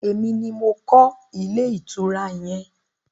Emi ni mo kọ́ ilé ìtura yẹn.